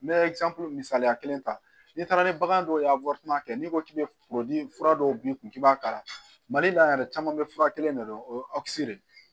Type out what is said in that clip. N bɛ misaliya kelen ta n'i taara ni bagan dɔw ye n'i ko k'i bɛ fura dɔw b'i kun k'i b'a kala mali la yan yɛrɛ caman bɛ fura kelen de dɔn o ye de ye